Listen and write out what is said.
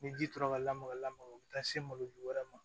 Ni ji tora ka lamaka lamaga u bi taa se malo ju wɛrɛ ma